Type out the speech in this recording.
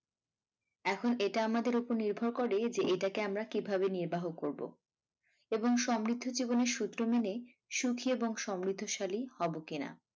এখন এটা আমাদের উপর নির্ভর করে যে এটাকে আমরা কিভাবে নির্বাহ করব এবং সমৃদ্ধ জীবনের সূত্র মেনে সুখী এবং সমৃ্দ্ধশালী হব কিনা?